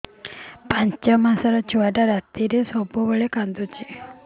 ପାଞ୍ଚ ମାସ ଛୁଆଟା ରାତିରେ ସବୁବେଳେ କାନ୍ଦୁଚି